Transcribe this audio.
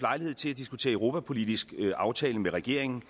lejlighed til at diskutere europapolitisk aftale med regeringen